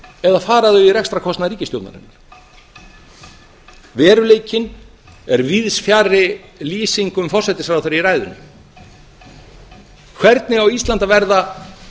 eða fara þau í rekstrarkostnað ríkisstjórnarinnar veruleikinn er víðs fjarri lýsingum forsætisráðherra í ræðunni hvernig á ísland að verða